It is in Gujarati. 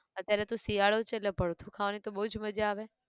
અત્યારે તો શિયાળો છે એટલે ભડથું ખાવાની તો બઉ જ મજા આવે